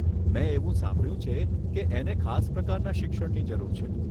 મેં એવું સાંભળ્યું છે કે એને ખાસ પ્રકારના શિક્ષણની જરૂર છે.